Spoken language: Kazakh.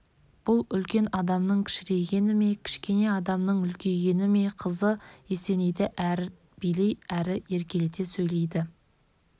бұл үлкен адамның кішірейгені ме кішкене адамның үлкейгені ме қызы есенейді әрі билей әрі еркелете сөйлейді